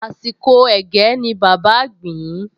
Àsìkò ẹ̀gẹ́ ni bàbá gbìn-ín